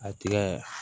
A tigɛ